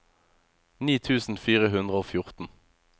ni tusen fire hundre og fjorten